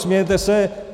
Smějete se.